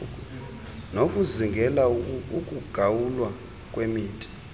nokuzingela ukugawulwa kwemithi